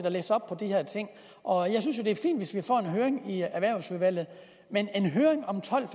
og læse op på de her ting og jeg synes jo at det er fint hvis vi får en høring i erhvervsudvalget men en høring om tolv